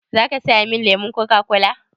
Za ka saya min lemon Coca-cola?